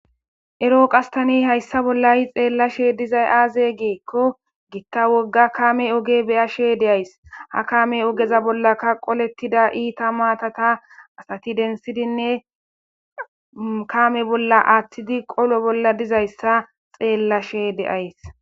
ero qastani hayssa bollayi xeella she dizay aaze geekko giitta wogga kaame oge beyashe de7ays ha kaame ogeza bolla kaqolettida iita maatata asati densidinne kaame bolla aathtidi qolo bolla dizayssa xeellashe de7ays